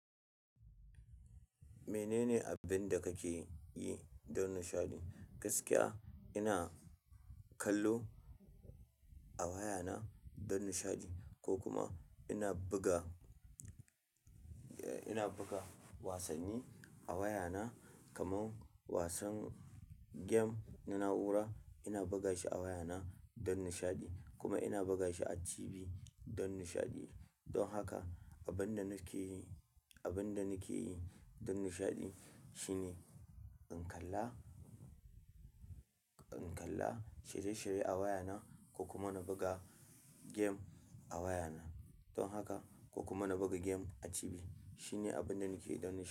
Mene ne abin da kake yi don nishaɗi? Gaskiya ina kallo a waya na dan nishaɗi ko kuma ina buga eh ina buga wasanni a wayana kamar wasan gem na na'ura ina buga shi a wayana don nishaɗi kuma ina buga shi a TV don nishaɗi. Don haka abin da nake yi, abin da nake yi don nishaɗi shine in kalla, in kalla shirye-shirye a wayana ko kuma na buga game a wayana. Don haka ko kuma na buga gamea TV shine abin da nake yi don nishaɗi.